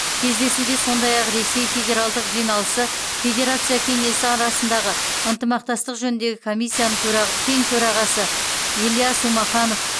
кездесуге сондай ақ ресей федералдық жиналысы федерация кеңесі арасындағы ынтымақтастық жөніндегі комиссияның тең төрағасы ильяс умаханов